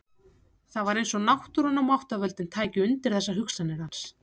Það var eins og náttúran og máttarvöldin tækju undir þessar hugsanir hans.